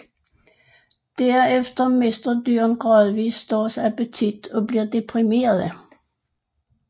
Derefter mister dyrene gradvis deres appetit og bliver deprimerede